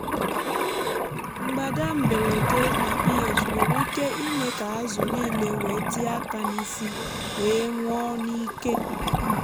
mgbádà mberede na ph nwere ike ime kà ázụ nílé wèé tíé aka n’isi wee nwụọ n’íkè.